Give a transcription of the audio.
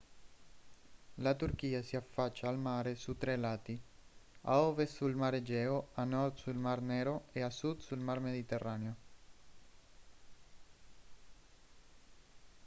la turchia si affaccia al mare su tre lati a ovest sul mar egeo a nord sul mar nero e a sud sul mar mediterraneo